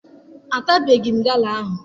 Atabeghị m gala ahụ.